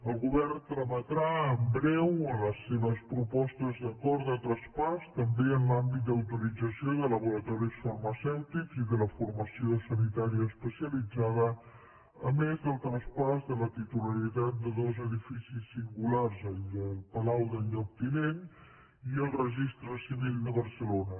el govern trametrà en breu les seves propostes d’acord de traspàs també en l’àmbit d’autorització de laboratoris farmacèutics i de la formació sanitària especialitzada a més del traspàs de la titularitat de dos edificis singulars el palau del lloctinent i el registre civil de barcelona